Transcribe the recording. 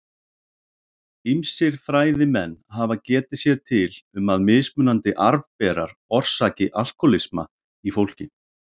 Ýmsir fræðimenn hafa getið sér til um að mismunandi arfberar orsaki alkóhólisma í fólki.